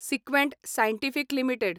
Sequent Scientific limited